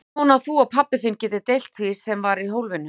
Ég vona að þú og pabbi þinn getið deilt því sem var í hólfinu.